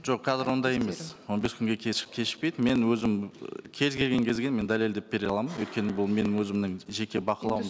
жоқ қазір ондай емес он бес күнге кешікпейді мен өзім ы кез келген кезге мен дәлелдеп бере аламын өйткені бұл менің өзімнің жеке бақылауым